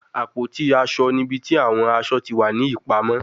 Àpótí-aṣọ ni ibi ti awọn aṣọ ti wa ni ipamọ